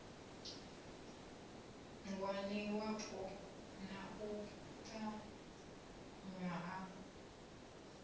ngwaniwapo na u ṱanganywa ha